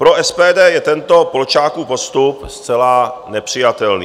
Pro SPD je tento Polčákův postup zcela nepřijatelný.